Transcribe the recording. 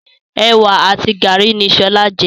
Ewa àti garri ni sọlá jẹ.